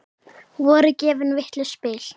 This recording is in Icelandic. Voru gefin vitlaus spil?